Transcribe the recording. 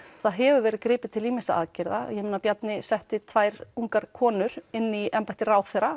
það hefur verið gripið til ýmissa aðgerða Bjarni setti tvær ungar konur inn í embætti ráðherra